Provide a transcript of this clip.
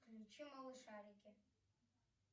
включи малышарики